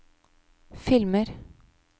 filmer